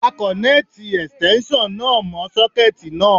A kọ̀nẹ́ẹ̀tì Ẹ̀stẹ́nṣọ̀n náà mọ́ sọ́kẹ́ẹ̀tì náà.